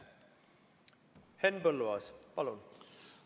Henn Põlluaas, palun!